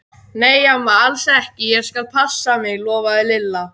Nei amma, alls ekki, ég skal passa mig lofaði Lilla.